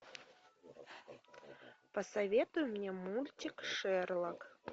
посоветуй мне мультик шерлок